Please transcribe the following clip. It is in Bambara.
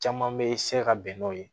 Caman bɛ se ka bɛn n'o ye